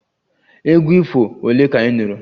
Egwu ifo ole ka ị nụrụ?